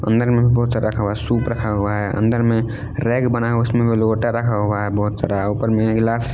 अंदर में भी बहुत सारा रखा हुआ है सूप रखा हुआ है अंदर में रैक बना हुआ है उसमे लोटा रखा हुआ है बहुत सारा ऊपर में गिलास --